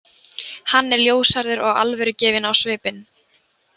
Hann er ljóshærður og alvörugefinn á svipinn.